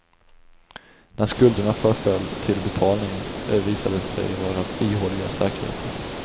När skulderna förföll till betalning visade de sig vara ihåliga säkerheter.